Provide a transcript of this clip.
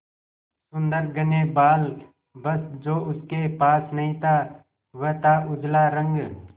सुंदर घने बाल बस जो उसके पास नहीं था वह था उजला रंग